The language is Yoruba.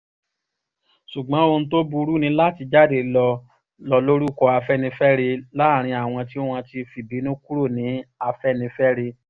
ṣùgbọ́n ohun tó burú ni láti jáde lọ́ọ́ lo orúkọ afẹ́nifẹ́re láàrin àwọn tí wọ́n ti fìbínú kúrò nínú afẹ́nifẹ́re